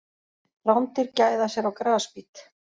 Rándýr gæða sér á grasbít.